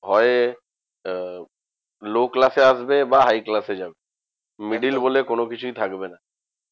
হয় আহ low class এ আসবে বা high class এ যাবে। middle বলে কোনোকিছুই থাকবে না